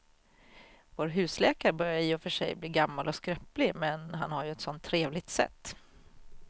Vår husläkare börjar i och för sig bli gammal och skröplig, men han har ju ett sådant trevligt sätt!